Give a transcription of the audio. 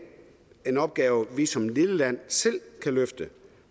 en opgave vi som lille land selv kan løfte